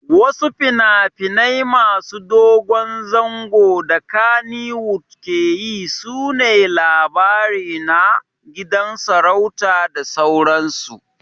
Wasu finafinai masu dogon zango da kannywood keyi sune Labarina, Gidan sarauta da sauransu